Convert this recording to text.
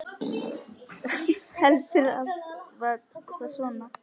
Heldur var það svona!